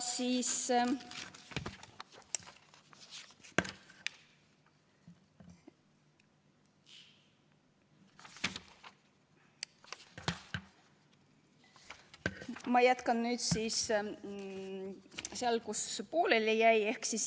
Ma jätkan nüüd sealt, kus pooleli jäi.